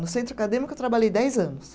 No Centro Acadêmico, eu trabalhei dez anos.